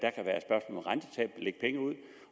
lægge penge ud